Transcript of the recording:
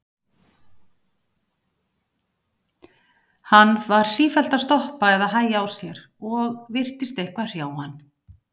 Hann var sífellt að stoppa eða hægja á sér og virtist eitthvað hrjá hann.